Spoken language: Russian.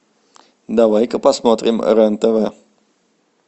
давай ка посмотрим рен тв